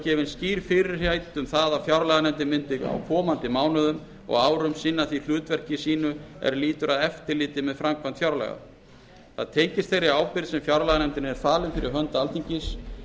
gefin skýr fyrirheit um það að fjárlaganefndin myndi á komandi mánuðum og árum sinna því hlutverki sínu er lýtur að eftirliti með framkvæmd fjárlaga það tengist þeirri ábyrgð sem fjárlaganefndinni er falin fyrir hönd alþingis